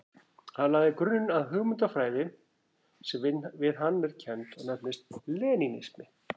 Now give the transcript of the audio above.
Hann lagði grunninn að hugmyndafræði sem við hann er kennd og nefnist lenínismi.